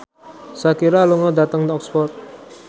Shakira lunga dhateng Oxford